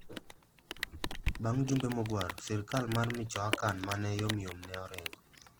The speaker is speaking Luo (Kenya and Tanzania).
Bang ' jumbe mogwaro, sirkal mar Michoacan ma ne yomyom ne oringo.